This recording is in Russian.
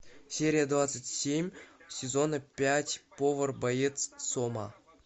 серия двадцать семь сезона пять повар боец сома